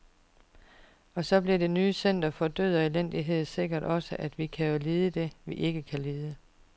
Så det bliver det nye center for død og elendighed sikkert også, vi kan jo lide det, vi ikke kan lide.